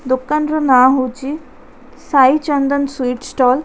ଦୋକାନର ନାଁ ହଉଚି ସାଇ ଚନ୍ଦନ ସୁଇଟ୍‌ ଷ୍ଟଲ ।